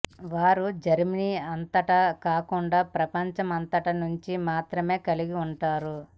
వారు జర్మనీ అంతటా కాకుండా ప్రపంచమంతా నుండి మాత్రమే కలిసి ఉంటారు